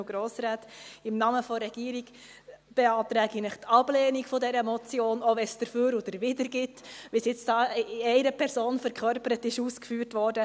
Im Namen der Regierung beantrage ich Ihnen die Ablehnung dieser Motion, selbst wenn es Argumente dafür und dawider gibt, wie dies, verkörpert von einer Person, ausgeführt wurde.